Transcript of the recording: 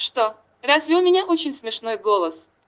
что разве у меня очень смешной голос